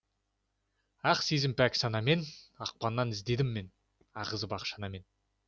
ақ сезім пәк санамен ақпаннан іздедім мен ағызып ақ шанамен